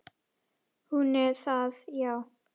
Hún er það, já.